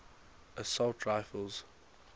assault rifles